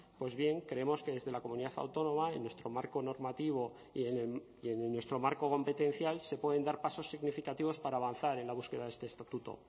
pues bien creemos que desde la comunidad autónoma en nuestro marco normativo y en nuestro marco competencial se pueden dar pasos significativos para avanzar en la búsqueda de este estatuto